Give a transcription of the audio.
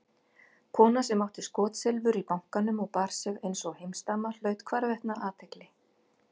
Kona sem átti skotsilfur í bankanum og bar sig einsog heimsdama hlaut hvarvetna athygli.